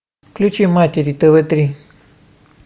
включи матери тв три